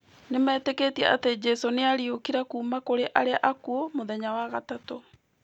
Nĩmetĩkĩtie atĩ Jesũ nĩ aariũkire kuuma kũrĩ arĩa akuũ mũthenya wa gatatũ.